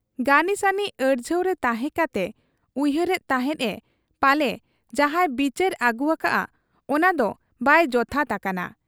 ᱜᱟᱹᱱᱤᱥᱟᱹᱱᱤ ᱟᱹᱲᱡᱷᱟᱹᱣᱨᱮ ᱛᱟᱦᱮᱸ ᱠᱟᱛᱮ ᱩᱭᱦᱟᱹᱨ ᱮᱫ ᱛᱟᱦᱮᱸᱫ ᱮ ᱯᱟᱞᱮ ᱡᱟᱦᱟᱸᱭ ᱵᱤᱪᱟᱹᱨ ᱟᱹᱜᱩ ᱟᱠᱟᱜ ᱟ, ᱚᱱᱟᱫᱚ ᱵᱟᱭ ᱡᱚᱛᱷᱟᱛ ᱟᱠᱟᱱᱟ ᱾